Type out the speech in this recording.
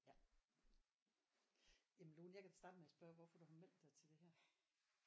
Ja. Jamen Lone jeg kan da starte med at spørge hvorfor du har meldt dig til det her